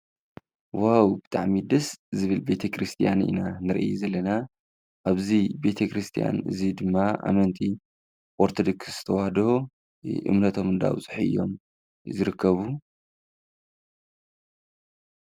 ዋው ብጣዕሚ ደስ ዝብል ቤተ ክርስትያን ኢና ንርኢ ዘለና፡፡ ኣብዚ ቤተ ክርስትያን እዚ ድማ ኣመንቲ ኦርቶዶክስ ተዋህዶ እምነቶም እንዳብፅሑ እዮም ዝርከቡ፡፡